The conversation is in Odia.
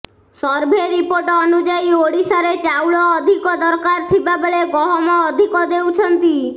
ସର୍ଭେ ରିପୋର୍ଟ ଅନୁଯାୟୀ ଓଡ଼ିଶାରେ ଚାଉଳ ଅଧିକ ଦରକାର ଥିବାବେଳେ ଗହମ ଅଧିକ ଦେଉଛନ୍ତି